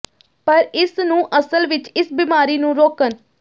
ਪਰ ਇਸ ਨੂੰ ਅਸਲ ਵਿੱਚ ਇਸ ਬਿਮਾਰੀ ਨੂੰ ਰੋਕਣ